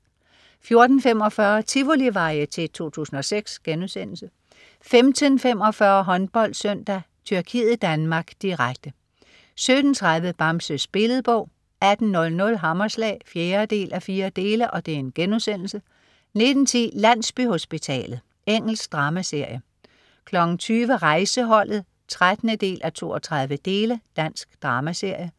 14.45 Tivolivarieté 2006* 15.45 HåndboldSøndag: Tyrkiet-Danmark (k), direkte 17.30 Bamses Billedbog 18.00 Hammerslag 4:4* 19.10 Landsbyhospitalet. Engelsk dramaserie 20.00 Rejseholdet 13:32. Dansk dramaserie